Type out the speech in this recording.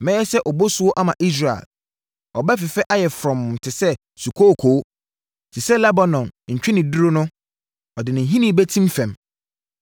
Mɛyɛ sɛ obosuo ama Israel. Ɔbɛfefɛ ayɛ frɔmm te sɛ sukooko. Te sɛ Lebanon ntweneduro no ɔde ne nhini bɛtim fam;